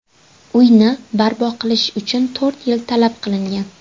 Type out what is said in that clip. Uyni barpo qilish uchun to‘rt yil talab qilingan.